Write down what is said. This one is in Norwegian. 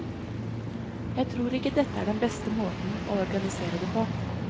Jeg tror ikke dette er den beste måten å organisere det på.